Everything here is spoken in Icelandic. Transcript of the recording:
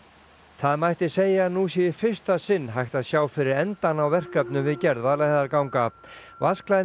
það mætti segja að nú sé í fyrsta sinn hægt að sjá fyrir endann á verkefnum við gerð Vaðlaheiðarganga